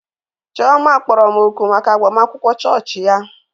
Chioma kpọrọ m òkù maka agbamakwụkwọ chọọchị ya.